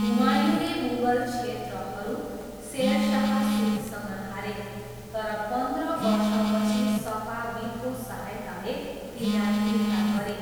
हुमायूँले मुगल क्षेत्रहरू शेर शाह सुरीसँग हारे, तर पन्ध्र वर्षपछि सफाविदको सहायताले तिनलाई फिर्ता गरे।